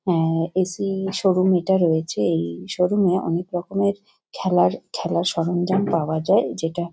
অ্যা AC. Showroom এটা রয়েছে। এই শোরুম -এ অনেক রকমের খেলার খেলার সরঞ্জাম পাওয়া যায় যেটা --